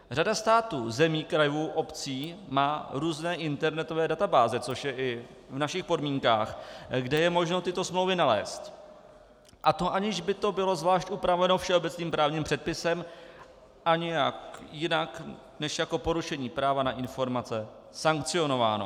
Řada států, zemí, krajů, obcí, má různé internetové databáze, což je i v našich podmínkách, kde je možné tyto smlouvy nalézt, a to aniž by to bylo zvlášť upraveno všeobecným právním předpisem a nějak jinak než jako porušení práva na informace sankcionováno.